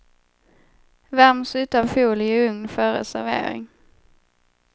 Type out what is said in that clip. Värms utan folie i ugn före servering.